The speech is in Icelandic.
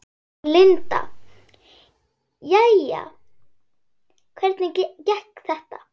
Linda: Jæja, hvernig gekk þetta?